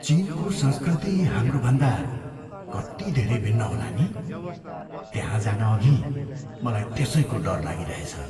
चिनको संस्कृति हाम्रोभन्दा कति धेरै भिन्न होला नि? त्यहाँ जानअघि मलाई त्यसैको डर लागिरहेछ।